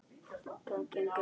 Það gengur ekki!